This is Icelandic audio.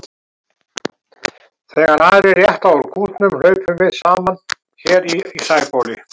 Þegar aðrir rétta úr kútnum hlaupum við saman hér í Sæbóli.